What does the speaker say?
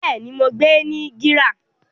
Bẹ́ẹ̀ni, mo n gbé ní GRA